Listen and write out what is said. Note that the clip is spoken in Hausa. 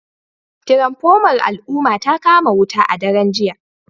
Tiranfomar al'umma ta kama wuta a daren jiya